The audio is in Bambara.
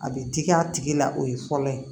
A bɛ digi a tigi la o ye fɔlɔ ye